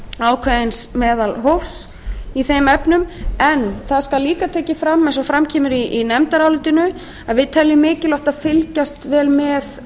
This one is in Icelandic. ákveðins meðalhófs í þeim efnum en það skal líka tekið fram eins og fram kemur í nefndarálitinu að við teljum mikilvægt að fylgjast vel með